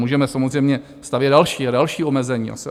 Můžeme samozřejmě stavět další a další omezení.